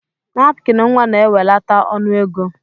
Napkin nwa na ewelata ọnụ ego.